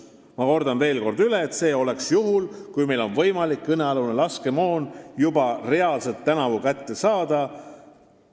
Ma kordan veel üle: see oleks juhul, kui meil on võimalik kõnealune laskemoon juba reaalselt tänavu kätte saada.